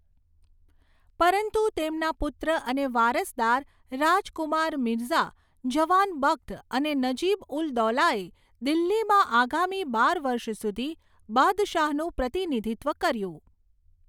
પરંતુ તેમના પુત્ર અને વારસદાર રાજકુમાર મિર્ઝા જવાન બખ્ત અને નજીબ ઉલ દૌલાએ દિલ્હીમાં આગામી બાર વર્ષ સુધી બાદશાહનું પ્રતિનિધિત્વ કર્યું.